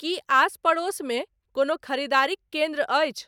की आस परोस मे कोनो ख़रीदारीक केंद्र अछि